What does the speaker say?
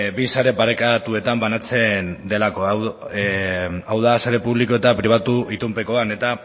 bi sare parekatuetan banatzen delako hau da sare publiko eta pribatu itunpekoan eta